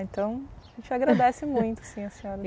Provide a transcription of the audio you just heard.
Então a gente agradece muito assim a senhora.